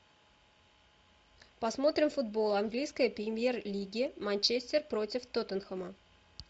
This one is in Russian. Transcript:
посмотрим футбол английской премьер лиги манчестер против тоттенхэма